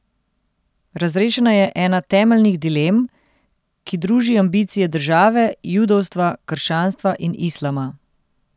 Razrešena je ena temeljnih dilem, ki druži ambicije države, judovstva, krščanstva in islama.